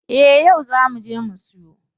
Eh yau zaa muje mu siyo.